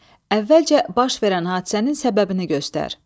Əvvəlcə baş verən hadisənin səbəbini göstər.